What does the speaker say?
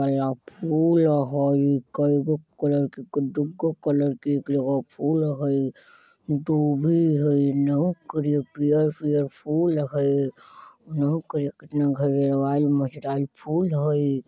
अया फूल हई कइगो कलर के त दूगो कलर के अ फूल हई दुभि हई हिन्ना करिया पियर-पियर फूल हई फूल हई|